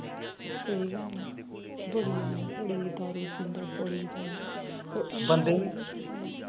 ਸਹੀ ਗੱਲ ਆ ਬੜੀ ਬੜੀ ਦਾਰੂ ਪੀਂਦਾ ਬੜੀ ਜਿਆਦਾ